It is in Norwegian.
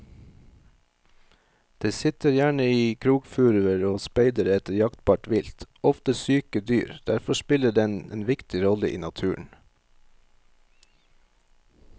Den sitter gjerne i krokfuruer og speider etter jaktbart vilt, ofte syke dyr, derfor spiller den en viktig rolle i naturen.